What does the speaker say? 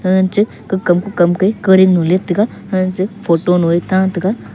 anche kukam kukam ke kuring lo leit taiga anche photo noe ta tega.